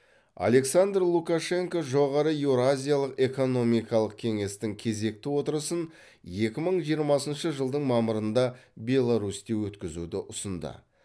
александр лукашенко жоғары еуразиялық экономикалық кеңестің кезекті отырысын екі мың жиырмасыншы жылдың мамырында беларусьте өткізуді ұсынды